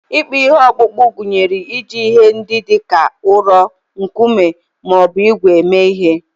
Ịkpụ ihe okpukpu gụnyere iji ihe ndị dị ka ụrọ, nkume, ma ọ bụ ígwè eme ihe.